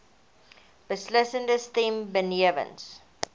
beslissende stem benewens